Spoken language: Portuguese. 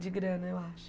De grana, eu acho.